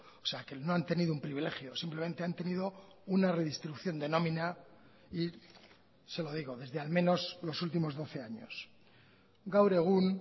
o sea que no han tenido un privilegio simplemente han tenido una redistribución de nómina y se lo digo desde al menos los últimos doce años gaur egun